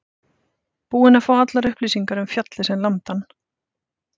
Búinn að fá allar upplýsingar um fjallið sem lamdi hann.